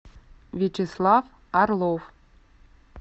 вячеслав орлов